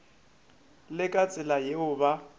le ka tsela yeo ba